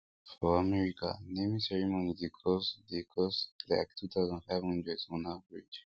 for america naming ceremony dey cost dey cost like two thousand, five hundred son average